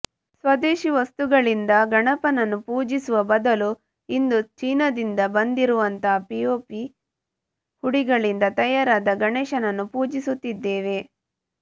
ಸ್ವದೇಶೀ ವಸ್ತುಗಳಿಂದ ಗಣಪನನ್ನು ಪೂಜಿಸುವ ಬದಲು ಇಂದು ಚೀನಾದಿಂದ ಬಂದಿರುವಂತಹ ಪಿವೋಪಿ ಹುಡಿಗಳಿಂದ ತಯಾರಾದ ಗಣೇಶನನ್ನು ಪೂಜಿಸುತ್ತಿದ್ದೇವೆ